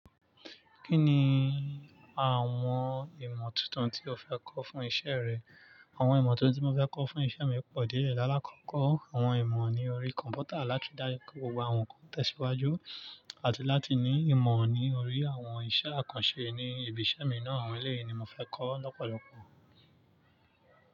Kí ni àwọn ìmọ̀ tuntun tí o fẹ́ kọ́ fún iṣẹ́ rẹ? Àwọn ìmọ̀ tuntun tí mo fẹ́ kọ́ fún iṣẹ́ mi pọ̀ díẹ̀ lála kọ̀kọ́. Àwọn ìmọ̀ ní orí kọ̀m̀pútà láti ri daju pe gbogbo àwọn nǹkan tẹ̀síwájú àti láti ní ìmọ̀ ní orí àwọn iṣẹ́ àkànṣe ní ibi iṣẹ́ mi náà. Àwọn èléyi ni mo fẹ́ kọ́ lọ́pọ̀lọ́pọ̀.